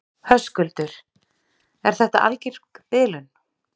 Höskuldur: Er þetta algeng bilun?